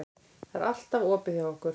Það er allt opið hjá okkur.